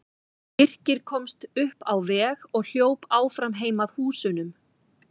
Birkir komst upp á veg og hljóp áfram heim að húsunum.